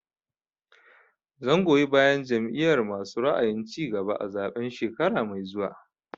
Zan goyi bayan Jam'iyar masu ra'ayin cigaba a zaɓen shekara mai zuwa